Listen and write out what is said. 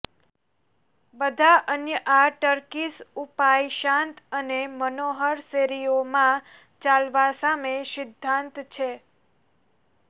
બધા અન્ય આ ટર્કીશ ઉપાય શાંત અને મનોહર શેરીઓમાં ચાલવા સામે સિદ્ધાંત છે